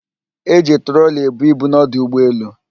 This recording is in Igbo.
E ji trọọli ebu ibu n'ọdụ ụgbọelu.